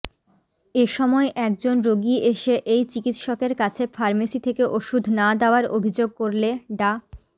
এসময় একজন রোগী এসে এই চিকিৎসকের কাছে ফার্মেসি থেকে ওষুধ না দেওয়ার অভিযোগ করলে ডা